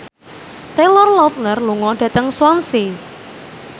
Taylor Lautner lunga dhateng Swansea